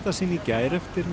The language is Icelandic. sinn í gær eftir